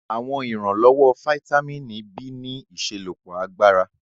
Àwọn ìrànlọ́wọ́ fítámìnì B ní ìṣelọ́pọ̀ agbára